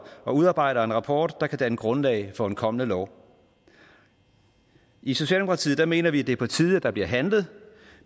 og udarbejder en rapport der kan danne grundlag for en kommende lov i socialdemokratiet mener vi det er på tide at der bliver handlet